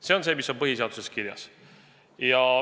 See on see, mis on põhiseaduses kirjas.